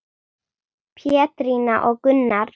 Pétrína og Gunnar.